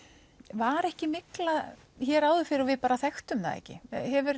var ekki mygla hér áður fyrr og við bara þekktum það ekki hefur